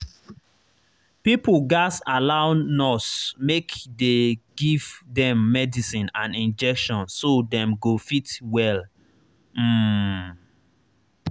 pipo gatz allow nurse make dey give dem medicine and injection so dem go fit well. um